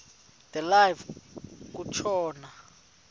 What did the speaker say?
de live kutshona